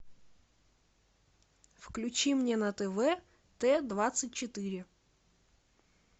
включи мне на тв т двадцать четыре